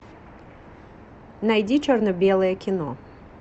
найди черно белое кино